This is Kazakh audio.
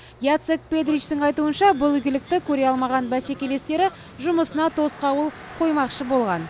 яцек педричтің айтуынша бұл игілікті көре алмаған бәсекелестері жұмысына тосқауыл қоймақшы болған